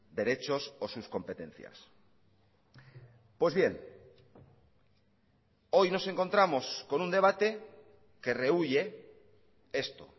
derechos o sus competencias pues bien hoy nos encontramos con un debate que rehuye esto